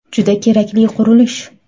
Juda kerakli qurilish.